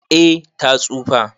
Eh ta tsufa.